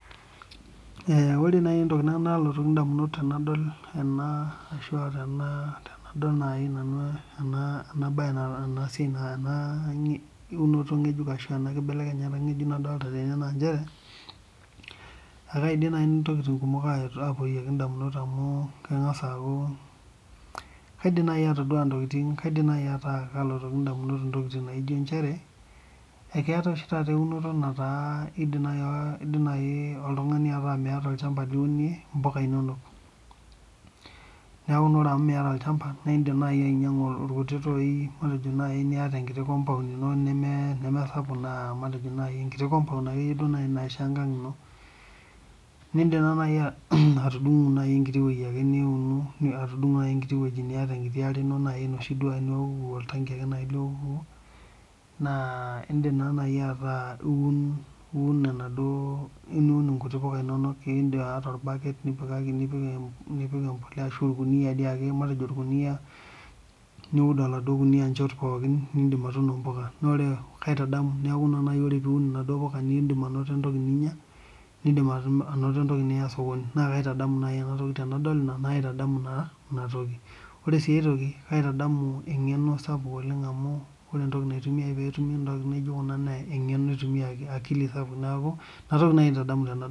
ore naaji entoki nalotu nanu edamunot tenadol ena naaji ena mbae ena unoto ng'ejuk ashu ena kibelekenyata ng'ejuk nadolita tene aa njere aa kaidim naaji nanu ntokitin kumok ayetu damunot amu keng'as aaku kaidim naaji ata kalotoki edamunot entokitin naikunono eji njere eketa oshi taata eunoto nataa kidim naaji ataa oltung'ani Miata olchamba liunie mbuka enono neeku naa amu Miata olchamba naa edim naaji ainyiang'u irkuti tooi edim naaji ataa eyata enkiti compound eno nimisapuk naaji enkiti compound akeyie naishaa enkag eno nidim naaji atudungu enkiti wueji niata enkiti are eno enoshi nioku orkiti taanki ake lioku naa edim ataa eyieu niun enkiti puka enono torbaket nipik embolea ashu orkunia ake niud oladua Kuni njoot pookin naa edim atuno mbuka naa kaitadamu neeku ore puliun mbuka naa edim anoto entoki ninyia nidim anoto entoki niyaa sokoni naa kaitadamu naaji ena toki tenadol naitamu ena toki ore sii enkae kaitamu Enkima sapuk oleng amu ore entoki naitumiai petumi ntokitin naijio Kuna naa eng'eno sapuk akili neeku ena toki naaji aitadamu